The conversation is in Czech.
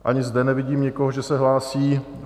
Ani zde nevidím nikoho, že se hlásí.